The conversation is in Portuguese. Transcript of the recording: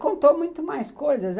Contou muito mais coisas.